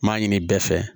N m'a ɲini bɛɛ fɛ